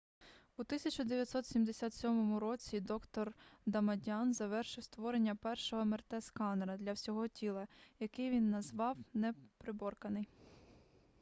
у 1977 році доктор дамадьян завершив створення першого мрт-сканера для всього тіла який він назвав неприборканий